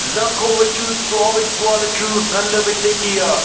zangkho wai chu chua wai chua le chu ngan ley wai chu tai tai aa.